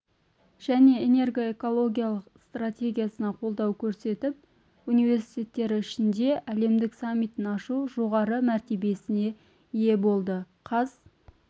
және энергоэкологиялық стратегиясына қолдау көрсетіп университеттері ішінде әлемдік саммитін ашу жоғары мәртебесіне ие болды қаз